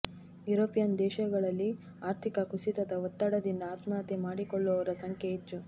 European ದೇಶಗಳಲ್ಲಿ ಆರ್ಥಿಕ ಕುಸಿತದ ಒತ್ತಡದಿಂದ ಆತ್ಮಹತ್ಯೆ ಮಾಡಿಕೊಳ್ಳುವವರ ಸಂಖ್ಯೆ ಹೆಚ್ಚು